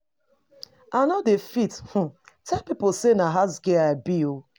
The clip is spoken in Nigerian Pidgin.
I no dey fit um tell pipo sey na house-girl I be.